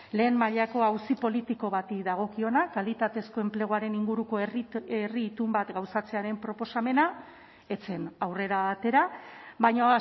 lehen mailako auzi politiko bati dagokiona kalitatezko enpleguaren inguruko herri itun bat gauzatzearen proposamena ez zen aurrera atera baina